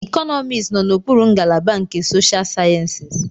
Economics nọ n'okpuru ngalaba nke Social Sciences.